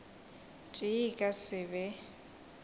tee e ka se be